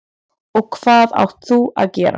Og hvað áttu að gera?